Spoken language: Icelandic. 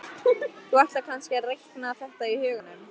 Þú ætlar kannski að reikna þetta í huganum?